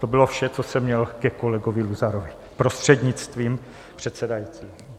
To bylo vše, co jsem měl ke kolegovi Luzarovi, prostřednictvím předsedajícího.